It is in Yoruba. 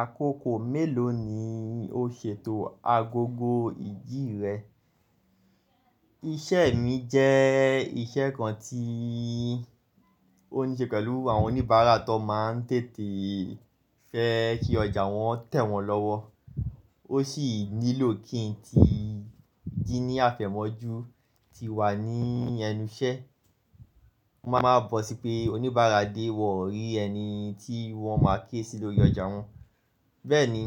Àkókò mélòó ni o ṣètò agogo ìjì rẹ? Iṣẹ́ mi jẹ́ iṣẹ́ kan tí ó níṣe pẹ̀lú àwọn oníbàárà tó máa ń tètè fẹ́ kí ọjà wọn tẹ̀ wọ́n lọ́wọ́. Ó sì nílò kí n ti jí ní àfẹ̀mọ́jú ti wà ní ẹnu iṣẹ́. Mo máa ń bọ̀ sí pé oníbàárà dé, wọ́n ò rí ẹni tí wọ́n máa ké sì lórí ọjà wọn. Bẹ́ẹ̀ni,